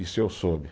Isso eu soube.